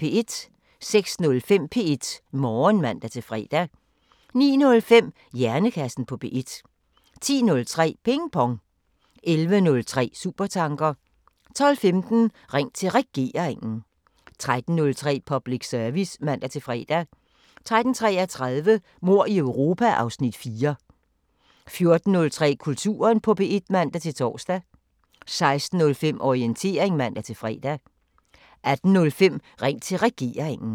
06:05: P1 Morgen (man-fre) 09:05: Hjernekassen på P1 10:03: Ping Pong 11:03: Supertanker 12:15: Ring til Regeringen 13:03: Public Service (man-fre) 13:33: Mord i Europa (Afs. 4) 14:03: Kulturen på P1 (man-tor) 16:05: Orientering (man-fre) 18:05: Ring til Regeringen